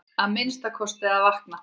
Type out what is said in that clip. Að minnsta kosti að vakna.